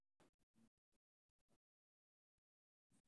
Hadda ma jirto wax daawo ah oo loogu talagalay BOS.